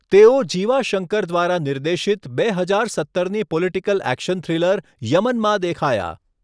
તેઓ જીવા શંકર દ્વારા નિર્દેશિત બે હજાર સત્તરની પોલિટિકલ એક્શન થ્રિલર યમનમાં દેખાયા.